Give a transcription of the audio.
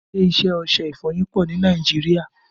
Ilé iṣẹ́ ọṣẹ ìfọyín pọ ni Nàìjíríà